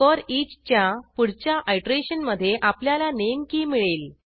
foreach च्या पुढच्या आयटरेशनमधे आपल्याला नामे की मिळेल